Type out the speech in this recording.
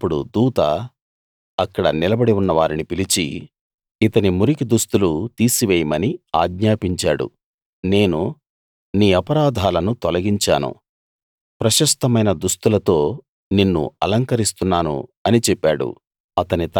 అప్పుడు దూత అక్కడ నిలబడి ఉన్నవారిని పిలిచి ఇతని మురికి దుస్తులు తీసివేయమని ఆజ్ఞాపించాడు నేను నీ అపరాధాలను తొలగించాను ప్రశస్తమైన దుస్తులతో నిన్ను అలంకరిస్తున్నాను అని చెప్పాడు